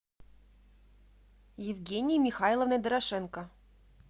евгенией михайловной дорошенко